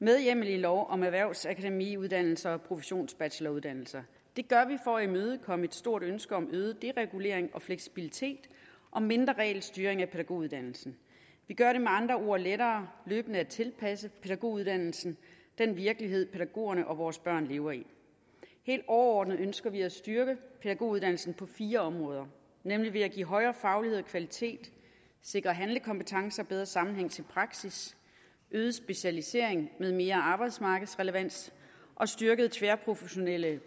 med hjemmel i lov om erhvervsakademiuddannelser og professionsbacheloruddannelser det gør vi for at imødekomme et stort ønske om øget deregulering og fleksibilitet og mindre regelstyring af pædagoguddannelsen vi gør det med andre ord lettere løbende at tilpasse pædagoguddannelsen den virkelighed pædagogerne og vores børn lever i helt overordnet ønsker vi at styrke pædagoguddannelsen på fire områder nemlig ved at give højere faglighed og kvalitet sikre handlekompetence og bedre sammenhæng til praksis øge specialiseringen med mere arbejdsmarkedsrelevans og styrke de tværprofessionelle